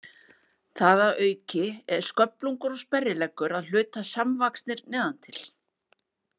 Það að auki er sköflungur og sperrileggur að hluta samvaxnir neðan til.